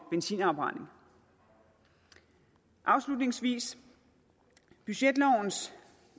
benzinafbrænding afslutningsvis budgetlovens